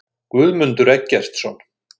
Guðmundur Eggertsson.